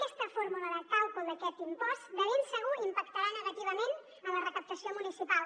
aquesta fórmula de càlcul d’aquest impost de ben segur impactarà negativament en la recaptació municipal